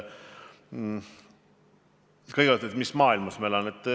Kõigepealt, mis maailmas ma elan.